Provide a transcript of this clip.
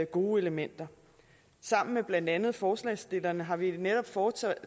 gode elementer sammen med blandt andet forslagsstillerne har vi netop foretaget